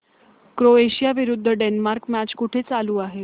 Croatia विरुद्ध Denmark match कुठे चालू आहे